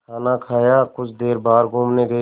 खाना खाया कुछ देर बाहर घूमने गए